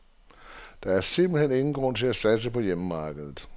Der er simpelt hen ingen grund til at satse på hjemmemarkedet.